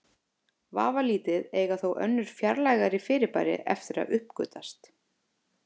Vafalítið eiga þó önnur fjarlægari fyrirbæri eftir að uppgötvast.